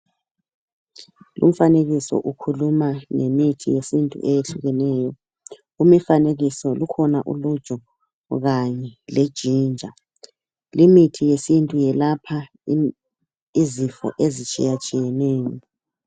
Lumfanekiso ukhuluma ngemithi yesintu ehlukeneyo, kulumfanekiso kukhona uluju kanye le jinja, limithi yesintu yelapha izifo ezitshiya tshiyeneyo.